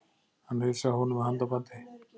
Hann heilsaði honum með handabandi.